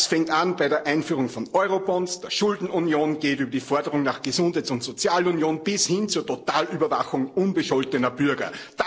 Das fängt an bei der Einführung von Eurobonds, der Schuldenunion, geht über die Forderung nach einer Gesundheits und Sozialunion bis hin zur totalen Überwachung unbescholtener Bürger.